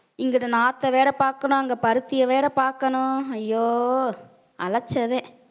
இங்கிட்டு நாத்தம் வேற பாக்கணும் அங்க பருத்தியை வேற பாக்கணும். ஐயோ அழைச்சதே